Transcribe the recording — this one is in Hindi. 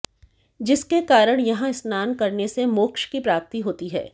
जिसके कारण यहां स्नानकरने से मोक्ष की प्राप्ति होती है